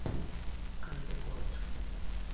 Qayta ko‘rib chiqing”.